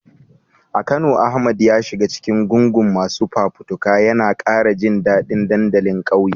A Kano, Ahmad ya shiga cikin gungun masu fafutuka, yana kara jin dadin dandalin kauye.